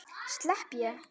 Slepp ég?